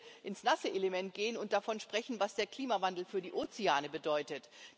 Ich möchte ins nasse Element gehen und davon sprechen, was der Klimawandel für die Ozeane bedeutet.